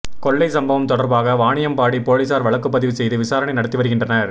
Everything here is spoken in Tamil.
கொள்ளை சம்பவம் தொடர்பாக வாணியம்பாடி போலீசார் வழக்குப்பதிவு செய்து விசாரணை நடத்தி வருகின்றனர்